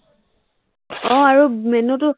আহ আৰু menu টো